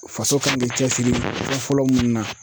Faso kan bɛ cɛsiri fɔlɔ fɔlɔ mun na.